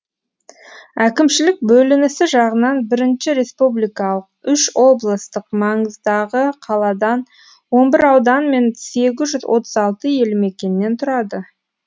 әкімшілік бөлінісі жағынан бірінші республикалық үш облыстық маңыздағы қаладан он бір аудан мен сегіз жүз отыз алты ел мекеннен тұрады